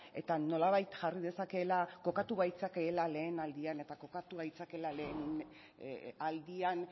eta nolabait jarri dezakeela kokatu gaitzakeela lehen aldian eta kokatu gaitzakeela lehen aldian